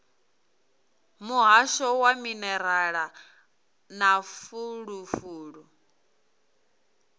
muhasho wa minerala na fulufulu